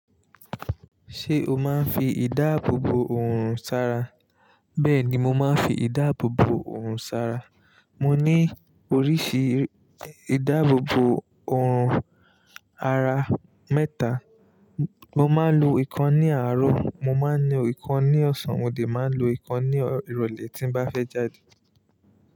Ṣé o máa ń fi ìdáàbò bò oòrùn sára? Bẹ́ẹ̀ ni, mo máa ń fi ìdáàbò bò òorùn sára. Mo ní oríṣi ìdáàbò bò oòrùn ara mẹ́ta. Mo máa ń lo ìkan ní àárọ̀, mo máa ń lo ìkan ní ọ̀sán, mo dè máa ń lo ìkan ní ìrọ̀lẹ́ tí n bá fẹ́ jáde.